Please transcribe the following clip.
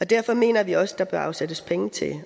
derfor mener vi også at der bør afsættes penge til